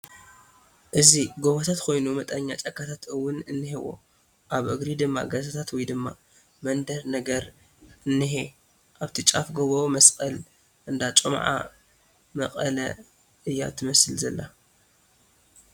እዚ ጎታት ኮይኑ መጠነኛ ጫካታት እውን እንሄዎ ኣብ እግሪ ድማ ገዛታት ወይ ድማ መንደር ነገር እንሄ ኣብታ ጫፍ ጎቦ መስቐል እንኣ ጮምዓ መቐለሰ እያ ትመስል ዘላ ።